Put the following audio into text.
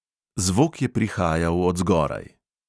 Zvok je prihajal od zgoraj.